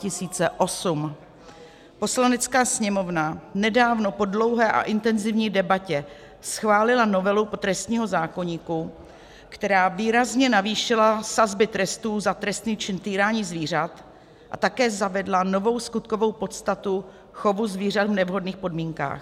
Poslanecká sněmovna nedávno po dlouhé a intenzivní debatě schválila novelu trestního zákoníku, která výrazně navýšila sazby trestů za trestný čin týrání zvířat a také zavedla novou skutkovou podstatu chovu zvířat v nevhodných podmínkách.